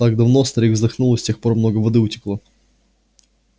так давно старик вздохнул и с тех пор много воды утекло